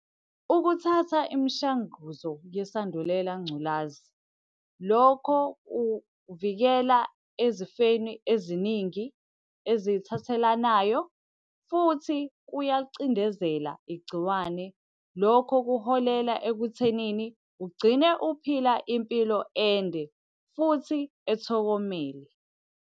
Ukuthatha imishanguzo yesandulela ngculazi. Lokho kuvikela ezifeni eziningi ezithathelanayo futhi kuyalicindezela igciwane. Lokho kuholela ekuthenini ugcine uphila impilo ende, futhi ethokomele.